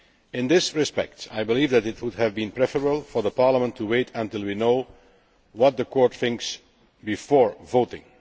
In this respect, I believe that it would have been preferable for Parliament to wait until we know what the Court thinks before voting.